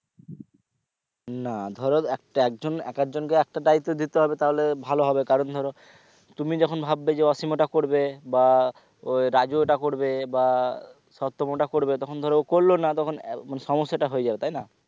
না ধরো একটা একজন এক আধ জন কে একটা দায়িত্ব দিতে হবে তাহলে ভালো হবে কারণ ধরো তুমি যখন ভাববে যে অসীম এটা করবে বা ও রাজু এটা করবে বা সপ্তক ওটা করবে তখন ধরো করলো না তখন মানে সমস্যাটা হয়ে যাবে তাই না?